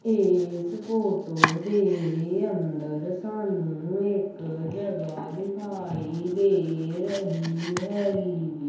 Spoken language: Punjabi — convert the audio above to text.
ਇਸ ਫੋਟੋ ਦੇ ਅੰਦਰ ਸਾਨੂੰ ਇੱਕ ਜਗ੍ਹਾ ਦਿਖਾਈ ਦੇ ਰਹੀ ਹੈਗੀ ਜੀ।